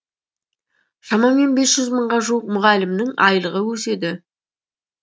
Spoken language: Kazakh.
шамамен бес жүз мыңға жуық мұғалімнің айлығы өседі